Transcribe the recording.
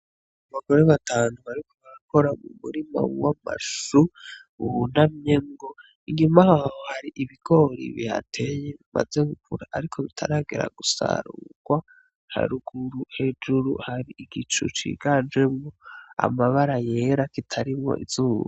Abagore batanu bariko barakora mu murima w'amashu ,bunamyemwo inyuma yaho har'ibigori bihateye bimaze gukura ariko bitaragera gusarurwa haruguru hejuru har'igicu ciganjemwo amabara yera kitarimwo izuba.